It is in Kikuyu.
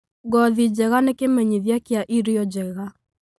Ngothi njega nĩ kĩmenyithia kĩa irio njega.